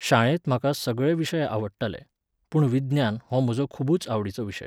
शाळेंत म्हाका सगळे विशय आवडटाले, पूण विज्ञान हो म्हजो खुबूच आवडिचो विशय.